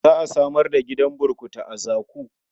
Za a samar da gidan burkutu a Zaku.